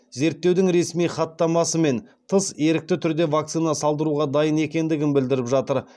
зерттеудің ресми хаттамасымен тыс ерікті түрде вакцина салдыруға дайын екендігін білдіріп жатыр